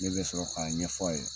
Ne bɛ sɔrɔ k'a ɲɛfɔ a ye